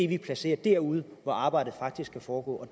vi placerer derude hvor arbejdet faktisk skal foregå